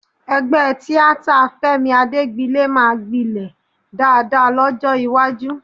Ẹgbẹ́ tíátà Fẹ́mi Adégbilé máa gbilẹ̀ dáadáa lọ́jọ́ iwájú